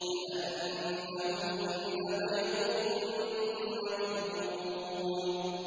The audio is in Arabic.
كَأَنَّهُنَّ بَيْضٌ مَّكْنُونٌ